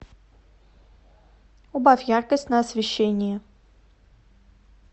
убавь яркость на освещении